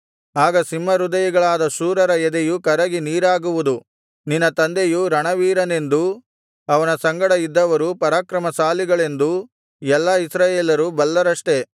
ಆಗ ಸಿಂಹಹೃದಯಿಗಳಾದ ಶೂರರ ಎದೆಯು ಕರಗಿ ನೀರಾಗುವುದು ನಿನ್ನ ತಂದೆಯು ರಣವೀರನೆಂದೂ ಅವನ ಸಂಗಡ ಇದ್ದವರು ಪರಾಕ್ರಮಶಾಲಿಗಳೆಂದೂ ಎಲ್ಲಾ ಇಸ್ರಾಯೇಲರು ಬಲ್ಲರಷ್ಟೆ